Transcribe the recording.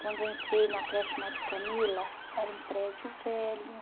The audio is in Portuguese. Quando eu entrei na creche Madre Camila, era um prédio velho.